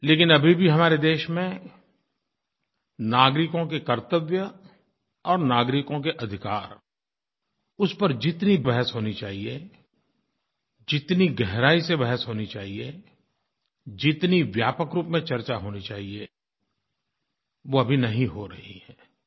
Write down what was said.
लेकिन अभी भी हमारे देश में नागरिकों के कर्तव्य और नागरिकों के अधिकार उस पर जितनी बहस होनी चाहिए जितनी गहराई से बहस होनी चाहिए जितनी व्यापक रूप में चर्चा होनी चाहिए वो अभी नहीं हो रही है